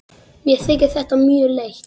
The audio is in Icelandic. Mér þykir þetta mjög leitt.